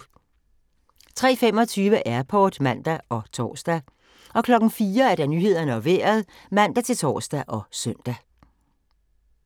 03:25: Airport (man og tor) 04:00: Nyhederne og Vejret (man-tor og søn)